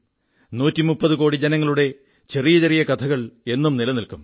130 കോടി ജനങ്ങളുടെ ചെറിയ ചെറിയ കഥകൾ എന്നും നിലനില്ക്കും